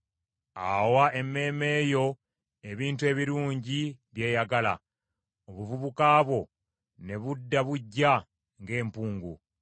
Awa emmeeme yo ebintu ebirungi byeyagala; obuvubuka bwo ne budda buggya ng’empungu.